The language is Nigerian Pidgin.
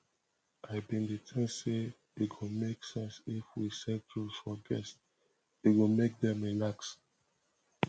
i bin dey think sey e go make sense if we set rules for guests e go make dem relax